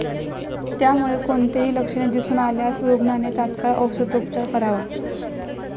त्यामुळे कोणतेही लक्षणे दिसून आल्यास रुग्णाने तत्काळ औषधोपचार करावा.